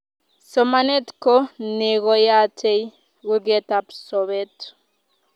Somanet ko neyotei kurget ab sobet